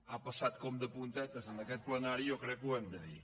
ha passat com de puntetes en aquest plenari i jo crec que ho hem de dir